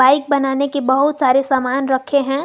Bike बनाने के बहुत सारे सामान रखे हैं।